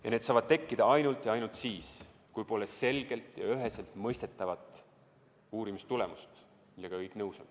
Ja need saavad tekkida ainult ja ainult siis, kui pole selget ja üheselt mõistetavat uurimistulemust, millega kõik nõus on.